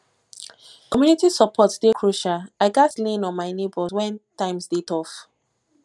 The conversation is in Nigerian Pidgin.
community support dey crucial i gats lean on my neighbors when times dey tough